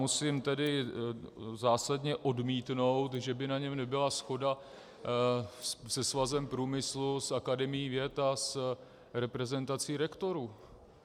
Musím tedy zásadně odmítnout, že by na něm nebyla shoda se Svazem průmyslu, s Akademií věd a s reprezentací rektorů.